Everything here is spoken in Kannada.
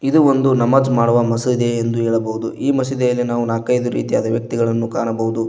ಇದು ಒಂದು ನಮಾಜ್ ಮಾಡುವ ಮಸಿದಿ ಎಂದು ಹೇಳಬಹುದು ಈ ಮಸೀದಿಯಲ್ಲಿ ನಕೈದು ರೀತಿಯಾದ ವ್ಯಕ್ತಿಗಳನ್ನು ಕಾಣಬಹುದು.